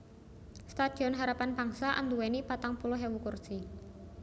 Stadion Harapan Bangsa anduwèni patang puluh ewu kursi